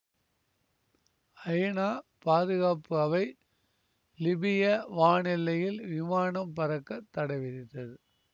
ஐநா பாதுகாப்பு அவை லிபிய வான் எல்லையில் விமானம் பறக்க தடை விதித்தது